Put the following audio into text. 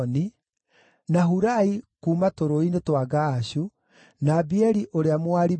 na Hurai kuuma tũrũũĩ-inĩ twa Gaashu, na Abieli ũrĩa Mũaribathi,